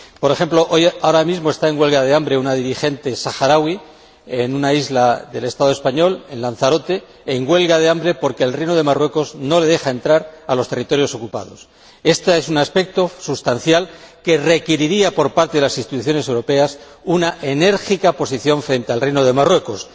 Por ejemplo, ahora mismo está en huelga de hambre una dirigente saharaui en una isla del Estado español, en Lanzarote, en huelga de hambre porque el Reino de Marruecos no le deja entrar a los territorios ocupados. Éste es un aspecto sustancial que requeriría por parte de las instituciones europeas una enérgica posición frente al Reino de Marruecos.